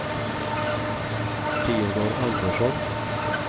Teodor Andersson